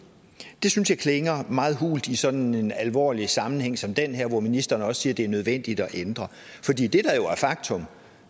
det synes jeg klinger meget hult i sådan en alvorlig sammenhæng som den her hvor ministeren også siger at det er nødvendigt at ændre for